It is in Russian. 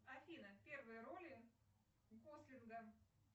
афина первые роли гослинга